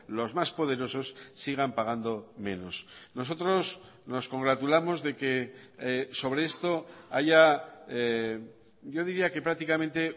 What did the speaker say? los más poderosos sigan pagando menos nosotros nos congratulamos de que sobre esto haya yo diría que prácticamente